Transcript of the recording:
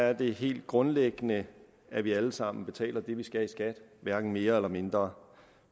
er det helt grundlæggende at vi alle sammen betaler det vi skal i skat hverken mere eller mindre